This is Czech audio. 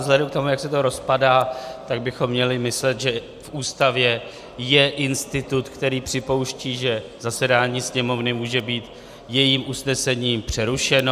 Vzhledem k tomu, jak se to rozpadá, tak bychom měli myslet, že v Ústavě je institut, který připouští, že zasedání Sněmovny může být jejím usnesením přerušeno.